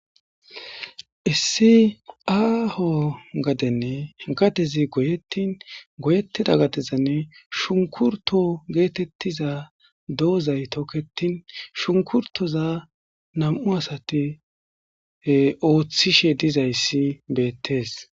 issi aaho gadenne gatezi goyettin goyettida gadezanne shunkurto geetettiza doozay tokketin shunkurtoza nam'u asati ooththishe dizayssi beettees